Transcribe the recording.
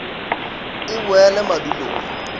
t t e boele madulong